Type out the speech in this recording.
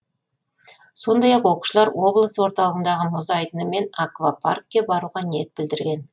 сондай ақ оқушылар облыс орталығындағы мұз айдыны мен аквапаркке баруға ниет білдірген